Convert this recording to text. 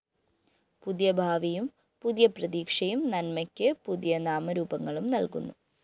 പുതിയ ഭാവിയും പുതിയ പ്രതീക്ഷയും നന്മയ്ക്കു പുതിയ നാമരൂപങ്ങളും നല്‍കുന്നു